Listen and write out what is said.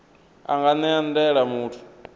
a nga ṅea ndaela muthu